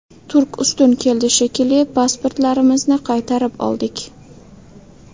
Turk ustun keldi, shekilli, pasportlarimizni qaytarib oldik.